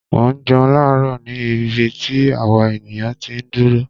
Mò ń jẹun láàárò ni ibi tí àwa ènìyàn ti ń dúró.